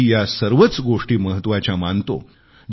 मी या सर्वच गोष्टी महत्वाच्या मानतो